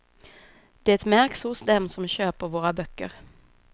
Det märks hos dem som köper våra böcker.